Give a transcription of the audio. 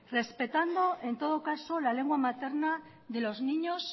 respetando en todo caso la lengua materna de los niños